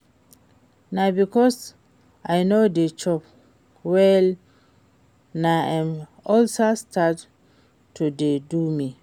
Na because I no dey chop well na im ulcer start to dey do me